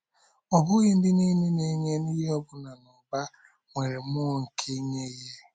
Ọ bụghị ndị nile na-enye ihe ọbụna n’ụba, nwere mmụọ nke inye ihe.